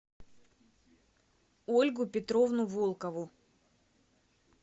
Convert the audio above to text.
ольгу петровну волкову